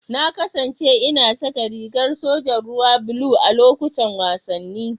Na kasance ina saka rigar sojan ruwa blue a lokutan wasanni.